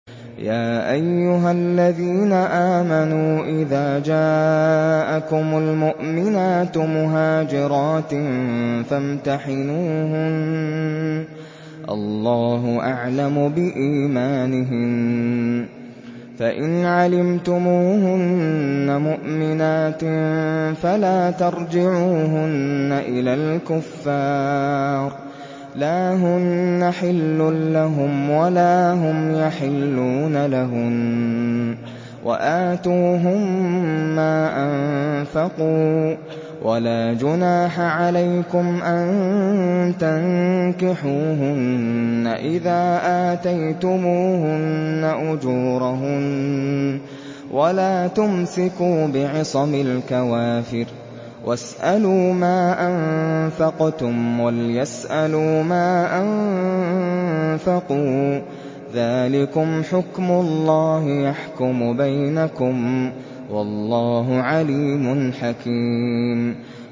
يَا أَيُّهَا الَّذِينَ آمَنُوا إِذَا جَاءَكُمُ الْمُؤْمِنَاتُ مُهَاجِرَاتٍ فَامْتَحِنُوهُنَّ ۖ اللَّهُ أَعْلَمُ بِإِيمَانِهِنَّ ۖ فَإِنْ عَلِمْتُمُوهُنَّ مُؤْمِنَاتٍ فَلَا تَرْجِعُوهُنَّ إِلَى الْكُفَّارِ ۖ لَا هُنَّ حِلٌّ لَّهُمْ وَلَا هُمْ يَحِلُّونَ لَهُنَّ ۖ وَآتُوهُم مَّا أَنفَقُوا ۚ وَلَا جُنَاحَ عَلَيْكُمْ أَن تَنكِحُوهُنَّ إِذَا آتَيْتُمُوهُنَّ أُجُورَهُنَّ ۚ وَلَا تُمْسِكُوا بِعِصَمِ الْكَوَافِرِ وَاسْأَلُوا مَا أَنفَقْتُمْ وَلْيَسْأَلُوا مَا أَنفَقُوا ۚ ذَٰلِكُمْ حُكْمُ اللَّهِ ۖ يَحْكُمُ بَيْنَكُمْ ۚ وَاللَّهُ عَلِيمٌ حَكِيمٌ